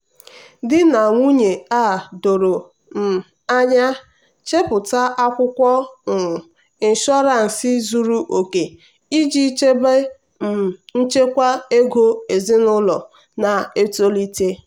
di na nwunye a doro um anya chepụta akwụkwọ um ịnshọransị zuru oke iji chebe um nchekwa ego ezinụlọ na-etolite.